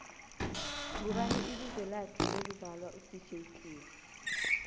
ngubani ibizo lakhe lokvzalwa u dj cleo